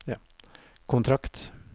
kontrakt